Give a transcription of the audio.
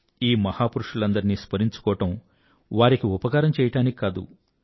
ఈ మహాపురుషులందరినీ స్మరించుకోవడం వారికి ఉపకారం చెయ్యడానికి కాదు